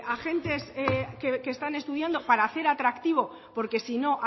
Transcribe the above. agentes que están estudiando para hacer atractivo porque si no